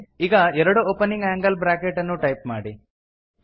ಈಗ ಎರಡು opening angle bracket ಅನ್ನು ಟೈಪ್ ಮಾಡಿ